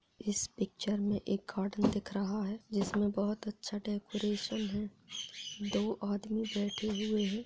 इस पिक्चर मे एक गार्डन दिख रहा है जिसमे बहोत ही अच्छा डेकोरैशन है दो आदमी बैठे हुए है।